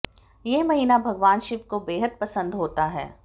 यह महीना भगवान शिव को बेहद पसंद होता है